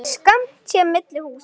Skammt sé milli húsa.